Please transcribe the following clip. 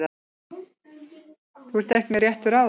Þú ert ekki með réttu ráði.